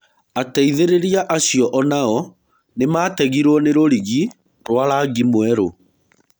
Ateithĩrĩria acio onao nĩmategirwo nĩ rũrigi rwa rangi mwerũ.